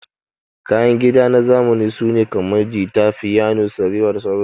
Kayan kida na zamani sune kamar, jita, fiyano, sarewa da sauran su.